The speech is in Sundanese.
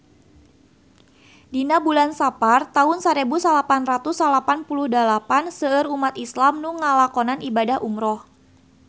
Dina bulan Sapar taun sarebu salapan ratus salapan puluh dalapan seueur umat islam nu ngalakonan ibadah umrah